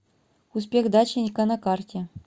успех дачника на карте